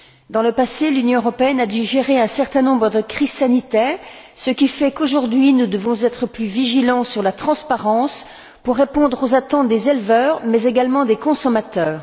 Dans le passé, l'Union européenne a digéré un certain nombre de crises sanitaires, ce qui fait qu'aujourd'hui nous devons être plus vigilants sur la transparence, pour répondre aux attentes des éleveurs, mais également des consommateurs.